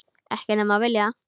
Ekki nema þú viljir það.